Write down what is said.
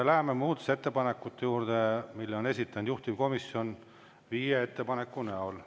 Läheme muudatusettepanekute juurde, mille on esitanud juhtivkomisjon viie ettepaneku näol.